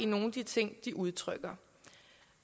nogle af de ting de udtrykker